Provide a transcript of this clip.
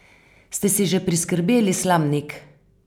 Ste si že priskrbeli slamnik?